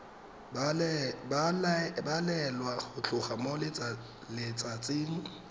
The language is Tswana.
balelwa go tloga mo letsatsing